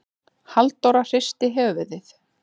Halldóra hristi höfuðið.